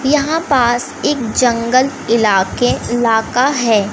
यहां पास एक जंगल इलाके इलाका है।